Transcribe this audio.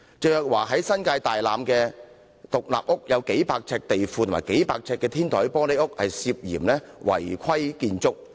鄭若驊位於新界大欖的獨立屋，有數百平方呎的地庫及數百平方呎的天台玻璃屋涉嫌是違規建築物。